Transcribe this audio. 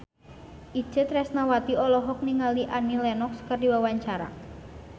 Itje Tresnawati olohok ningali Annie Lenox keur diwawancara